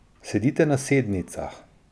Sedite na sednicah.